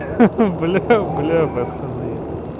ха-ха бля бля пацаны